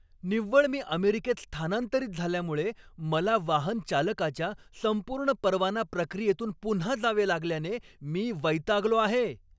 निव्वळ मी अमेरिकेत स्थानांतरित झाल्यामुळे मला वाहनचालकाच्या संपूर्ण परवाना प्रक्रियेतून पुन्हा जावे लागल्याने मी वैतागलो आहे.